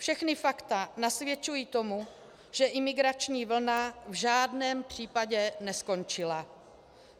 Všechna fakta nasvědčují tomu, že imigrační vlna v žádném případě neskončila.